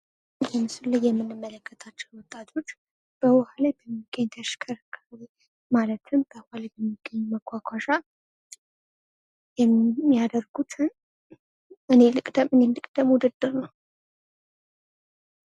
በምስሉ ላይ የምናያቸው ወጣቶች በዉሃ ላይ እየተሸከረከሩ ማለት በዉሀ መጓጓዣ የሚያደርጉትን እኔ ልቅደም እኔ ልቅደም ውድድር ነው።